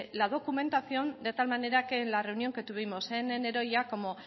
la documentación de tal manera que en la reunión que tuvimos en enero ya como